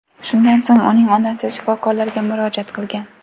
Shundan so‘ng uning onasi shifokorlarga murojaat qilgan.